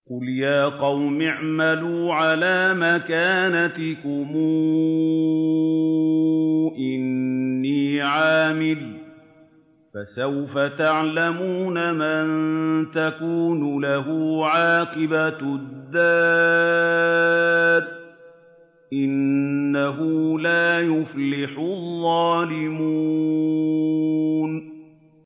قُلْ يَا قَوْمِ اعْمَلُوا عَلَىٰ مَكَانَتِكُمْ إِنِّي عَامِلٌ ۖ فَسَوْفَ تَعْلَمُونَ مَن تَكُونُ لَهُ عَاقِبَةُ الدَّارِ ۗ إِنَّهُ لَا يُفْلِحُ الظَّالِمُونَ